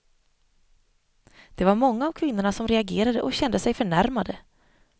Det var många av kvinnorna som reagerade och kände sig förnärmade.